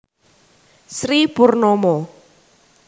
Sri Purnomo